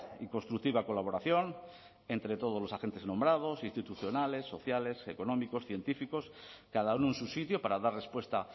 y constructiva colaboración entre todos los agentes nombrados institucionales sociales económicos científicos cada uno en su sitio para dar respuesta